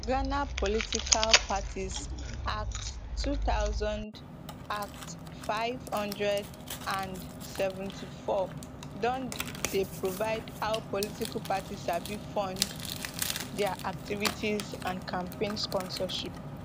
ghana political parties act two thousand act five hundred and seventy-four don dey provide how political parties sabi fund dia activities and campaign sponsorship